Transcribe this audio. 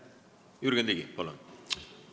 Jürgen Ligi, palun!